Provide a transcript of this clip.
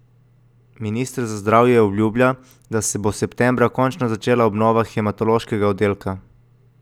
Minister za zdravje obljublja, da se bo septembra končno začela obnova hematološkega oddelka.